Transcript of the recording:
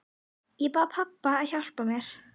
Ég bað pabba að hjálpa mér.